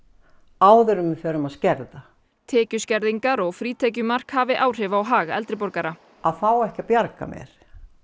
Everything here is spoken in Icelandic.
áður en við förum að skerða tekjuskerðingar og frítekjumark hafi áhrif á hag eldri borgara að fá ekki að bjarga mér